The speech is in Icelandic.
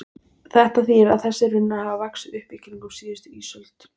Þetta þýðir að þessir runnar hafa vaxið upp í kringum síðustu ísöld.